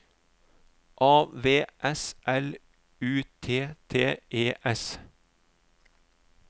A V S L U T T E S